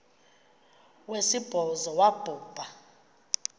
wesibhozo wabhu bha